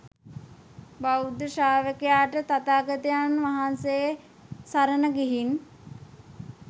බෞද්ධ ශ්‍රාවකයාට තථාගතයන් වහන්සේ සරණ ගිහින්